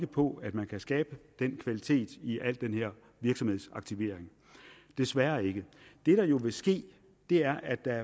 på at man kan skabe den kvalitet i al den her virksomhedsaktivering desværre ikke det der jo vil ske er at der